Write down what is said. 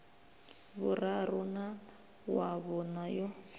vhuraru na wa vhuṋa yo